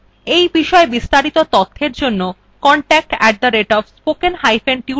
এই বিষয় বিস্তারিত তথ্যের জন্য contact @spokentutorial org তে ইমেল করুন